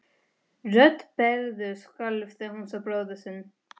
Rödd Berthu skalf þegar hún sá bróður sinn.